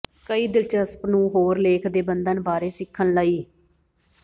ਕਈ ਦਿਲਚਸਪ ਨੂੰ ਹੋਰ ਲੇਖ ਦੇ ਬੰਧਨ ਬਾਰੇ ਸਿੱਖਣ ਲਈ